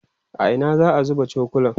a Ina za'a zuba cokulan?